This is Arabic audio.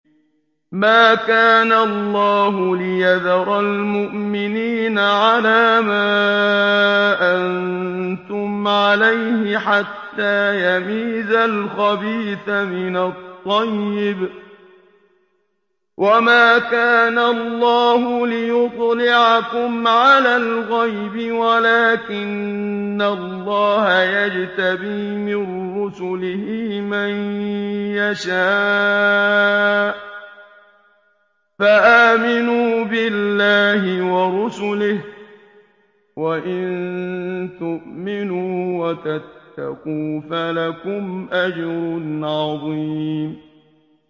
مَّا كَانَ اللَّهُ لِيَذَرَ الْمُؤْمِنِينَ عَلَىٰ مَا أَنتُمْ عَلَيْهِ حَتَّىٰ يَمِيزَ الْخَبِيثَ مِنَ الطَّيِّبِ ۗ وَمَا كَانَ اللَّهُ لِيُطْلِعَكُمْ عَلَى الْغَيْبِ وَلَٰكِنَّ اللَّهَ يَجْتَبِي مِن رُّسُلِهِ مَن يَشَاءُ ۖ فَآمِنُوا بِاللَّهِ وَرُسُلِهِ ۚ وَإِن تُؤْمِنُوا وَتَتَّقُوا فَلَكُمْ أَجْرٌ عَظِيمٌ